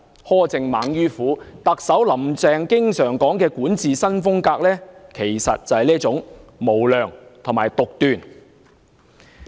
苛政猛於虎，特首"林鄭"經常說的"管治新風格"，其實即是這種無良和獨斷的作風。